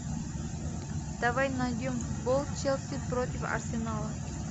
давай найдем футбол челси против арсенала